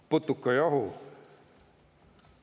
Putukajahu.